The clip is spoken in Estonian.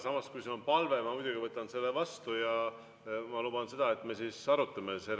Samas, kui see on palve, siis ma muidugi võtan selle vastu ja luban, et me arutame seda.